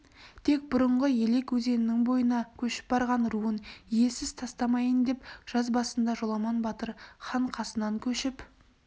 тек бұрынғы елек өзенінің бойына көшіп барған руын иесіз тастамайын деп жаз басында жоламан батыр хан қасынан көшіп